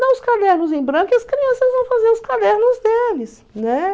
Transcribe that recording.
Dá os cadernos em branco e as crianças vão fazer os cadernos deles, né?